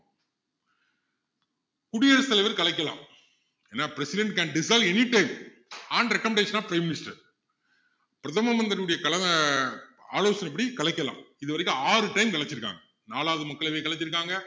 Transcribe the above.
குடியரசுத்தலைவர் கலைக்கலாம் என்ன president can dissolve any time on recommodation of prime minister பிரதம மந்திரியினுடைய தலைமை ஆலோசனைப்படி கலைக்கலாம் இது வரைக்கும் ஆறு time கலைச்சுருக்காங்க நாலாவது மக்களவையை கலைச்சு இருக்காங்க